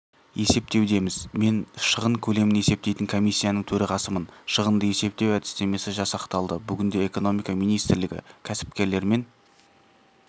есептеудеміз мен шығын көлемін есептейтін комиссияның төрағасымын шығынды есептеу әдістемесі жасақталды бүгінде экономика министрлігі кәсіпкерлермен